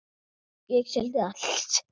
Ég seldi allt.